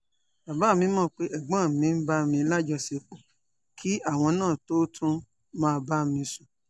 bàbá mi mọ̀ pé ẹ̀gbọ́n mi ń bá mi lájọṣepọ̀ kí àwọn náà tóo tún máa bá mi sùn